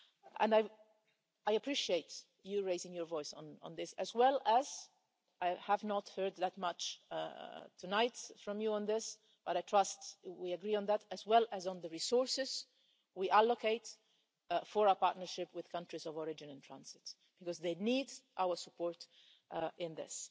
And I appreciate you raising your voice on this as well as I have heard that much tonight from you on this, but I trust we agree on that on the resources we allocate for our partnership with countries of origin and transit, because they need our support in this.